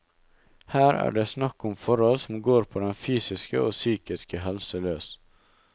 Her er det snakk om forhold som går på den fysiske og psykiske helse løs.